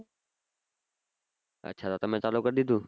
અચ્છા તો તમે ચાલુ કર દીઘું